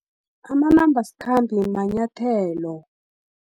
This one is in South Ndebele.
Amanambasikhambe manyathelo.